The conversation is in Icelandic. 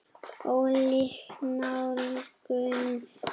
Ólík nálgun.